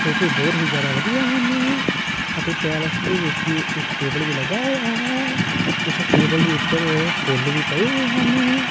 ਸੋਫੇ ਬਹੁਤ ਹੀ ਜਿਆਦਾ ਵਧੀਆ ਹਨ ਅਤੇ ਪੈਲਸ ਦੇ ਵਿੱਚ ਇੱਕ ਟੇਬਲ ਵੀ ਲੱਗਾ ਹੋਇਆ ਹੈ ਉਸ ਟੇਬਲ ਦੇ ਉੱਪਰ ਫੁੱਲ ਵੀ ਪਏ ਹੋਏ ਹਨ।